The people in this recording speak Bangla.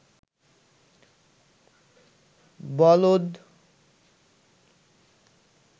বলদ